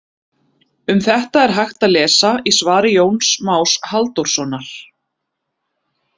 Um þetta er hægt að lesa í svari Jóns Más Halldórssonar.